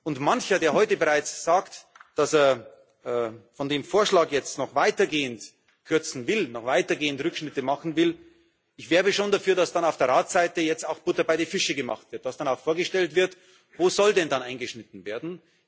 Und mancher, der heute bereits sagt, dass er von dem Vorschlag jetzt noch weitergehend kürzen will, noch weitergehend Rückschnitte machen will Ich wäre aber schon dafür, dass dann auf der Ratsseite jetzt auch Butter bei die Fische gemacht wird, das dann auch vorgestellt wird Wo soll denn dann eingeschnitten werden?